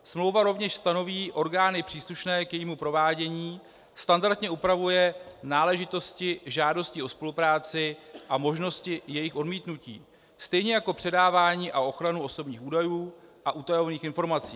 Smlouva rovněž stanoví orgány příslušné k jejímu provádění, standardně upravuje náležitosti žádosti o spolupráci a možnosti jejího odmítnutí, stejně jako předávání a ochranu osobních údajů a utajovaných informací.